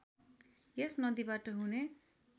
यस नदीबाट हुने